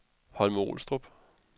Holme-Olstrup